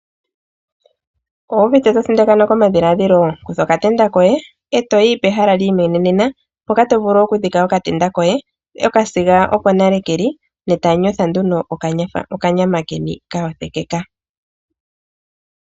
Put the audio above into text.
Owu uvite to thindakanwa komadhiladhilo kutha okatenda koye e to yi pehala li imwenenena mpoka to vulu okudhika okatenda koye okasiga oko nale ke li ne tamu kala nduno tamu yotha okanyama keni kayothekeka.